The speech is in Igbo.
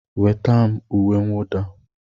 Nweta m uwe mwụda!